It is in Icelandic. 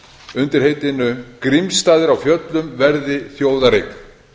undir heitinu grímsstaðir á fjöllum verði þjóðareign